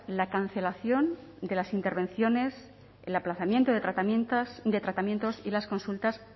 la cancelación de las intervenciones el aplazamiento de tratamientos y las consultas